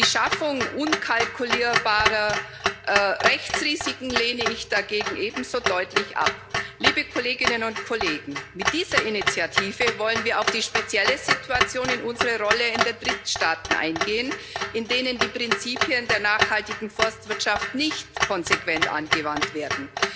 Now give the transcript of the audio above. Die Schaffung unkalkulierbarer Rechtsrisiken lehne ich dagegen ebenso deutlich ab. Liebe Kolleginnen und Kollegen, mit dieser Initiative wollen wir in unserer Rolle auf die spezielle Situation in den Drittstaaten eingehen, in denen die Prinzipien der nachhaltigen Forstwirtschaft nicht konsequent angewandt werden.